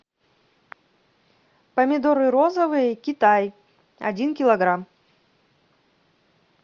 помидоры розовые китай один килограмм